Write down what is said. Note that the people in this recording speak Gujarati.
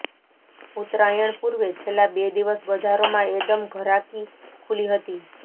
ઉત્તરાયણ પુર્વે છેલ્લા બે દિવસ બજારોમાં એદમ ઘરાકી ખુલી હતી